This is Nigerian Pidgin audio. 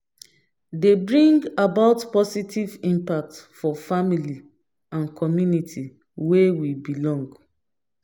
dey bring about possitive impact for family and community wey we belong